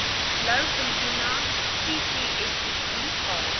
blouvintuna ccsbt val